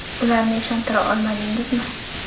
Ularni ishontira olmadingizmi?